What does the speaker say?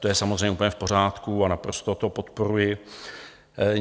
To je samozřejmě úplně v pořádku a naprosto to podporuji.